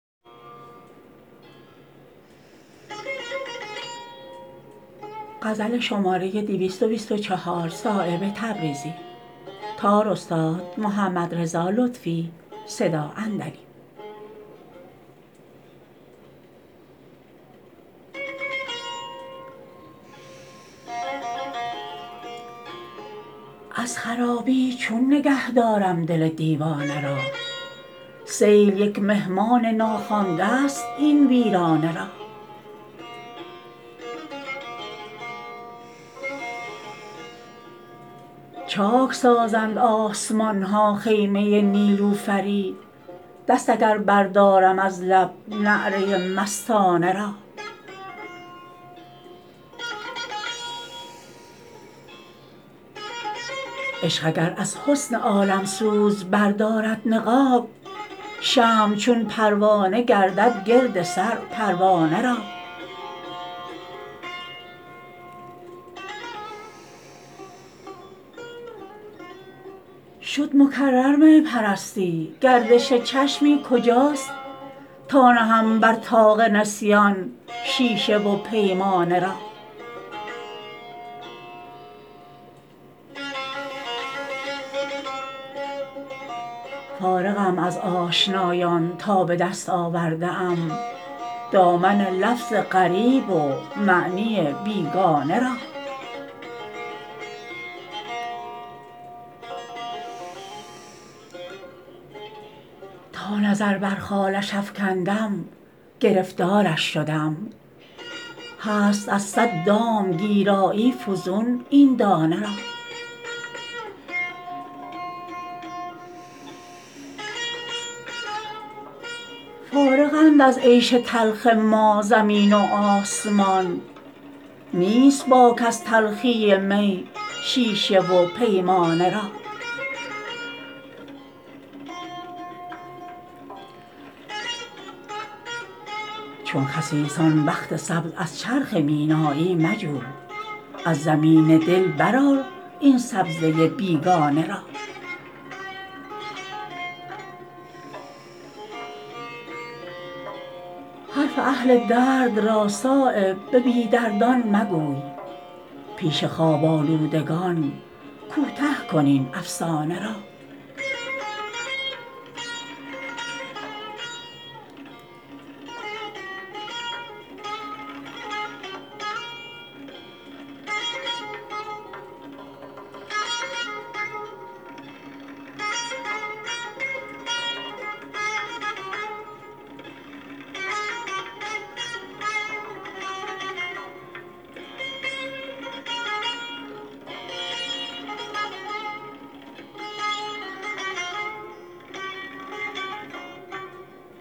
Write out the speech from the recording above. از خرابی چون نگه دارم دل دیوانه را سیل یک مهمان ناخوانده است این ویرانه را چاک سازند آسمان ها خیمه نیلوفری دست اگر بردارم از لب نعره مستانه را عشق اگر از حسن عالمسوز بردارد نقاب شمع چون پروانه گردد گرد سر پروانه را شد مکرر می پرستی گردش چشمی کجاست تا نهم بر طاق نسیان شیشه و پیمانه را فارغم از آشنایان تا به دست آورده ام دامن لفظ غریب و معنی بیگانه را تا نظر بر خالش افکندم گرفتارش شدم هست از صد دام گیرایی فزون این دانه را فارغند از عیش تلخ ما زمین و آسمان نیست باک از تلخی می شیشه و پیمانه را چون خسیسان بخت سبز از چرخ مینایی مجو از زمین دل برآر این سبزه بیگانه را حرف اهل درد را صایب به بی دردان مگوی پیش خواب آلودگان کوته کن این افسانه را